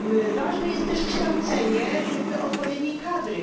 Ważne jest też kształcenie odpowiedniej kadry.